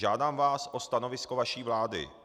Žádám vás o stanovisko vaší vlády.